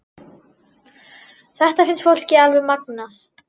Þetta finnst fólki alveg magnað.